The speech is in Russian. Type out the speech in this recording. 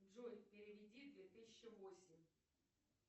джой переведи две тысячи восемь